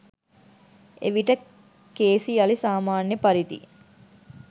එවිට කේසි යළි සාමාන්‍ය පරිදි